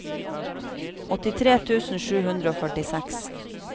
åttitre tusen sju hundre og førtiseks